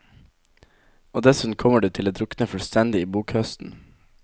Og dessuten kommer du til å drukne fullstendig i bokhøsten.